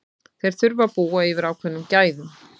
Þeir þurfa að búa yfir ákveðnum gæðum.